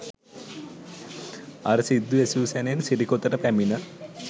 අර සිද්ධි ඇසූ සැණෙන් සිරිකොතට පැමිණ